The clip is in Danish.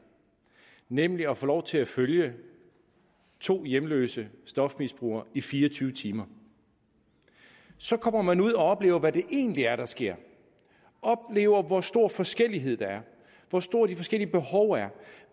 nemlig at få lov til at følge to hjemløse stofmisbrugere i fire og tyve timer så kommer man ud og oplever hvad det egentlig er der sker oplever hvor stor forskellighed der er hvor store de forskellige behov er